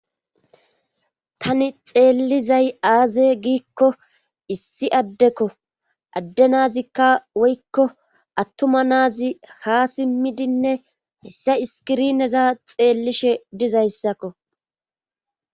Tani xeellizay aaze giikko issi addekko adde nazikka woykko attuma naazi ha simmidinne hessa iskirineza xeellishe dizayssakko.